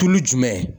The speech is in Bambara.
Tulu jumɛn